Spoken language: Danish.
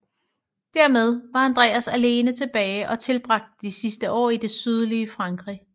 Dermed var Andreas alene tilbage og tilbragte de sidste år i det sydlige Frankrig